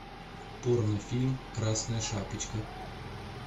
порнофильм красная шапочка